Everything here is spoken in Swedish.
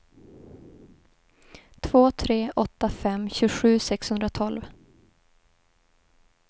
två tre åtta fem tjugosju sexhundratolv